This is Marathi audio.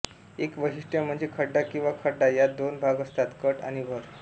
एक वैशिष्ट्य म्हणजे खड्डा किंवा खड्डा यात दोन भाग असतात कट आणि भर